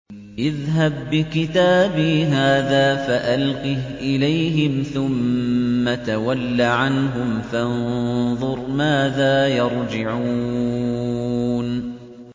اذْهَب بِّكِتَابِي هَٰذَا فَأَلْقِهْ إِلَيْهِمْ ثُمَّ تَوَلَّ عَنْهُمْ فَانظُرْ مَاذَا يَرْجِعُونَ